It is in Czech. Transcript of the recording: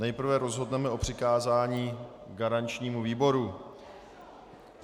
Nejprve rozhodneme o přikázání garančnímu výboru.